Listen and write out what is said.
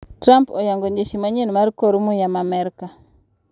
Trump oyango jeshi manyien mar kor muya ma merka.